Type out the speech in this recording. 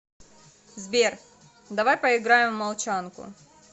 сбер давай поиграем в молчанку